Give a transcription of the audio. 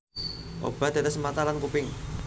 Obat tetes mata lan kuping